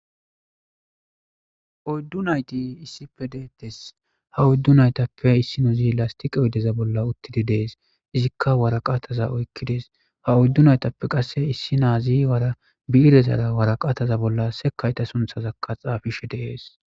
Oydu nayti issippe deetes. Ha oydu naytappe issinozi lastiqe oydeza bolla uttidi dees disjeka woraqatayka oykidees. Ha oydu naytappe qaseka issinozi biirezara woraqatayka bolla sekayta sintharaka xaafishe de'es.